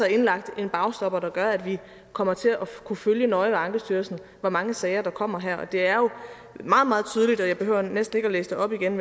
indlagt en bagstopper der gør at vi kommer til at kunne følge nøje ved ankestyrelsen hvor mange sager der kommer her og det er jo meget meget tydeligt jeg behøver næsten ikke at læse det op igen